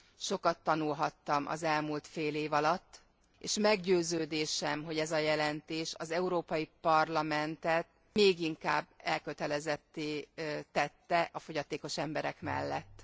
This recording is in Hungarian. Sokat tanulhattam az elmúlt fél év alatt, és meggyőződésem, hogy ez a jelentés az Európai Parlamentet még inkább elkötelezetté tette a fogyatékos emberek mellett.